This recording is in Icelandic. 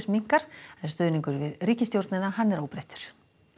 minnkar stuðningur við ríkisstjórnina er óbreyttur